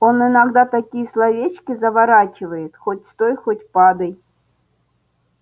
он иногда такие словечки заворачивает хоть стой хоть падай